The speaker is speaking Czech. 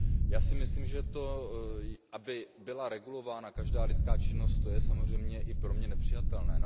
Já si myslím, že to, aby byla regulována každá lidská činnost, je samozřejmě i pro mě nepřijatelné.